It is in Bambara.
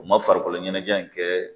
U man farikolo ɲɛnajɛ in kɛ